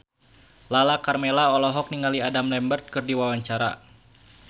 Lala Karmela olohok ningali Adam Lambert keur diwawancara